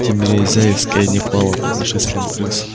тимирезяевская не пала под нашествием крыс